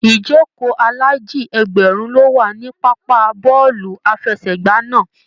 Ijoko ilaji ẹgbẹrun lo wà ní pápá bọọlu àfẹ́sẹ̀gbà náà.